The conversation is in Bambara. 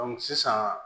sisan